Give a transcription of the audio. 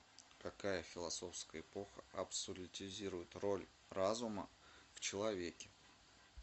какая философская эпоха абсолютизирует роль разума в человеке